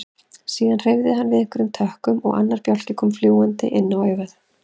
Síðan hreyfði hann við einhverjum tökkum og annar bjálki kom fljúgandi inn á augað.